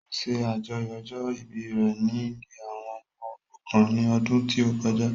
Ó ṣe àjọyọ̀ ọjọ́ ìbí rẹ ní ilée àwọn ọmọ òrukàn ní ọdún tí ó kọjá